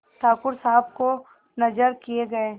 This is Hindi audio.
ठाकुर साहब को नजर किये गये